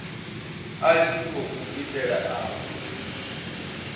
a tshi khou itela avho